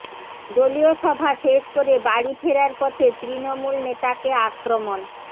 দলীয় সভা শেষ করে বাড়ি ফেরার পথে তৃণমূল নেতাকে আক্রমণ